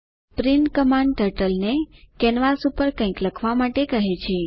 print command ટર્ટલને canvas પર કંઈક લખવા માટે કહે છે